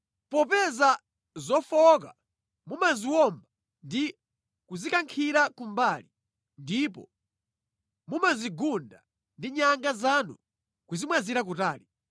Popeza zofowoka mumaziwomba ndi kuzikankhira kumbali, ndipo mumazigunda ndi nyanga zanu nʼkuzimwazira kutali,